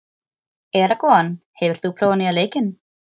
Eragon, hefur þú prófað nýja leikinn?